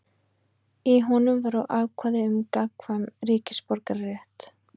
Í honum voru ákvæði um gagnkvæman ríkisborgararétt.